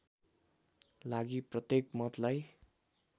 लागि प्रत्‍येक मतलाई